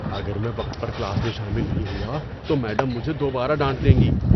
اگر میں وقت پر کلاس میں شامل نہیں ہوا تو میڈم مجھے دوبارہ ڈانٹ دیں گی۔